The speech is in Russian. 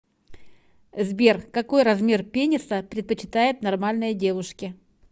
сбер какой размер пениса предпочитают нормальные девушки